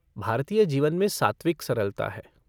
भारतीय जीवन में सात्विक सरलता है।